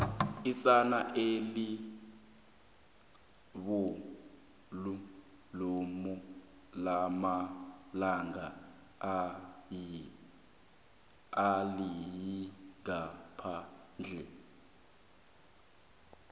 isana elibolu lomalanga aliyingaphandle